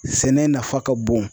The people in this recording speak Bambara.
Sɛnɛ nafa ka bon.